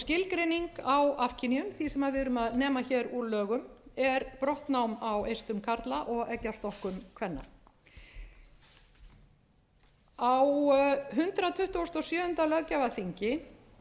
skilgreining á afkynjun því sem við erum að nema hér úr lögum er brottnám á eistum karla og eggjastokkum kvenna á hundrað tuttugasta og sjöunda löggjafarþingi